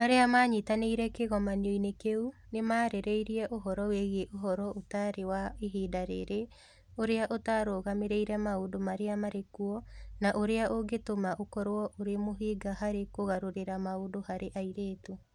Arĩa maanyitanĩire kĩgomano-inĩ kĩu nĩ maarĩrĩirie ũhoro wĩgiĩ ũhoro ũtarĩ wa ihinda rĩrĩ, ũrĩa ũtarũgamĩrĩire maũndũ marĩa marĩ kuo, na ũrĩa ũngĩtũma ũkorũo ũrĩ mũhĩnga harĩ kũgarũrĩra maũndũ harĩ airĩtu.